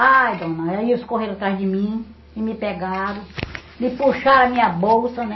Aí, dona, aí eles correram atrás de mim e me pegaram, me puxaram a minha bolsa, né?